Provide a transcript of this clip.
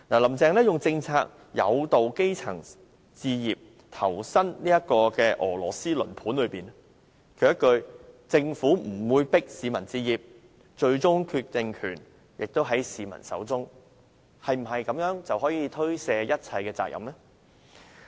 "林鄭"利用政策誘導基層置業，投身俄羅斯輪盤中，她一句"政府不會迫市民置業，最終決定權在市民手中"，是否就可推卸所有責任？